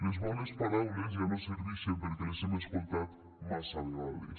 les bones paraules ja no servixen perquè les hem escoltat massa vegades